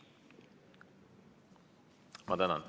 Ma tänan!